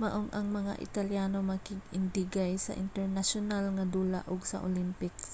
maong ang mga italyano makig-indigay sa internasyonal nga dula ug sa olympics